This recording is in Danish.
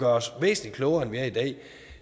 os væsentlig klogere end vi er i dag